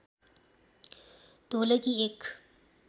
ढोलकी एक